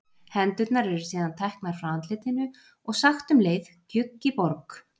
Hendurnar eru síðan teknar frá andlitinu og sagt um leið gjugg í borg.